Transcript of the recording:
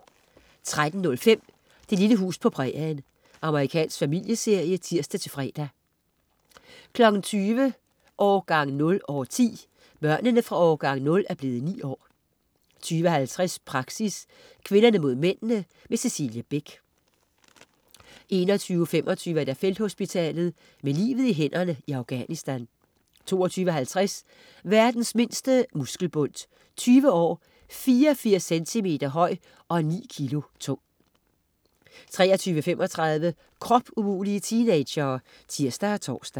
13.05 Det lille hus på prærien. Amerikansk familieserie (tirs-fre) 20.00 Årgang 0 år 10. Børnene fra "Årgang 0" er blevet ni år 20.50 Praxis. Kvinderne mod mændene. Cecilie Beck 21.25 Felthospitalet. Med livet i hænderne i Afghanistan 22.50 Verdens mindste muskelbundt. 20 år, 84 cm høj og ni kg tung 23.35 Kropumulige teenagere! (tirs og tors)